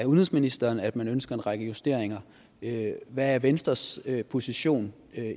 udenrigsministeren at man ønsker en række justeringer hvad er venstres position